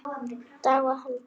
Tágar héldu.